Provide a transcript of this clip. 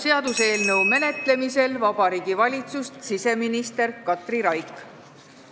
Seaduseelnõu menetlemisel Riigikogus esindab Vabariigi Valitsust siseminister Katri Raik.